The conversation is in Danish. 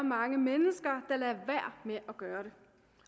mange mennesker der lader være med at gøre det